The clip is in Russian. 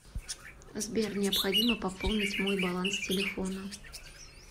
сбер необходимо пополнить мой баланс телефона